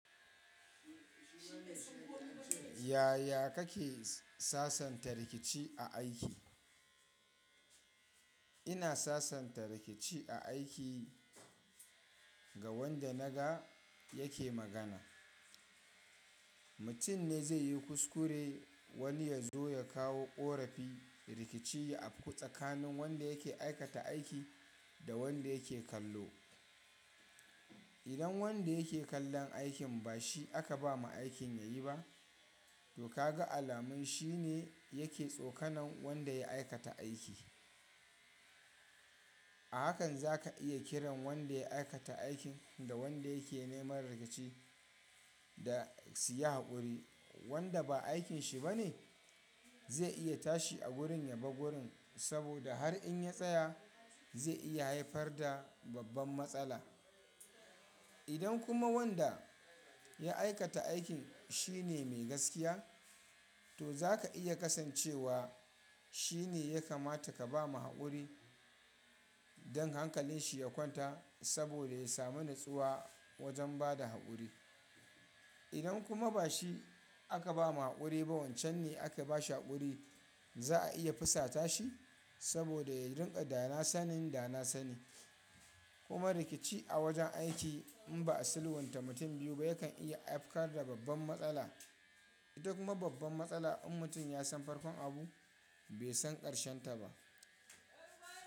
Yaya kake sasanta rikici a aiki? Ina sasanta rikici a aiki ga wanda naga yake magana. Mutum ne zai yi kuskure wani ya zo ya kawo ƙorafi. Rikici ya afku tsakanin wanda yake aikata aiki da wanda yake kallo. Idan wanda yake kallon aikin ba shi aka ba ma aikin ya yi ba, to ka ga alamun shi ne yake tsokanon wanda ya aikata aiki. A hakan za ka iya kiran wanda ya aikata aikin da wanda yake neman rikici da su yi haƙuri. Wanda ba aikin shi ba ne zai iya tashi a gurin ya buga gurin saboda har in ya tsaya zai iya haifar da babban matsala. Idan kuma wanda ya aikata aikin shi ne mai gaskiya, to za ka iya kasancewa shi ne ya kamata ka ba ma haƙuri don hankalin shi ya kwanta saboda ya sami nutsuwa wajen bada haƙuri. Idan kuma ba shi aka ba ma haƙuri ba wancan ne aka ba shi haƙuri za a iya fusata shi saboda ya rinƙa dana sanin dana sani. Kuma rikici a wajen aiki in ba a silwanta mutum biyu ba yakan iya afkara babban matsala. Idan kuma babban matsala in mutum ya san farkon abu bai san ƙarshen ta ba.